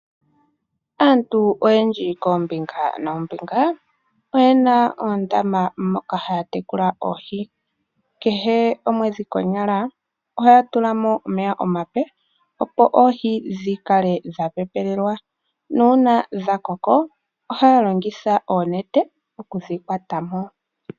Aantu oyendji koombinga noombinga oyena oondama moka haya tekula oohi kehe omwedhi konyala ohaya tulamo omeya omape opo oohi dhikale dha pepelelwa nuuna dha koko ohaya longitha oonete okudhi kwatamo.